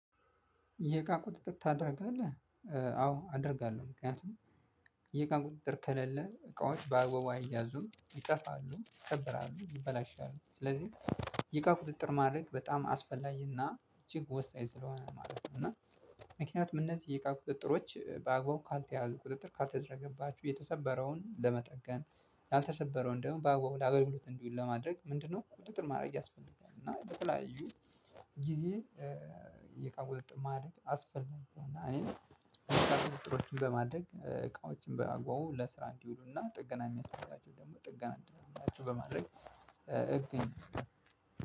የእቃ ቁጥጥር ታደርጋለህ? አዎ አደርጋለሁ ምክንያቱም የቃን ቁጥጥር ከሌለ እቃዎች በአግባቡ አይያዙም ይጠፋሉ ይሰበራሉ ይበላሻሉ። ስለዚህ የቃ ቁጥጥር ማድረግ በጣም አስፈላጊና እጅግ ወሳኝ ስለሆነ ማለት ነው። እና ምክንያቱም እነዚህ የእቃ ቁጥጥሮች በአግባቡ ካልተያዙ ቁጥጥር ካልተደረገባችሁ የተሰበረውን ለመጠገን ያልተሰበረውን ደግሞ በአገልግሎት እንዲውል ለማድረግ ምንድነው ቁጥጥር ማድረግ ያስፈልጋል። እና በተለያዩ ጊዜ የእቃ ቁጥጥር ማድረግ አስፈላጊ ነው። እና እኔን እቃ ቁጥጥር በማድረግ እቃዎችን በማጕጕዝ ለስራ እንዲውሉና ጥገና የሚያስፈልጋቸው ደግሞ ጥገና እንዲደርግላቸው በማድረግ እገኛለው